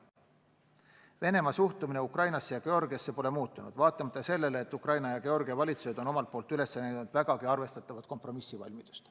Moskva suhtumine Ukrainasse ja Georgiasse pole muutunud vaatamata sellele, et Ukraina ja Georgia valitsus on omalt poolt üles näidanud vägagi arvestatavat kompromissivalmidust.